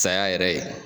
Saya yɛrɛ ye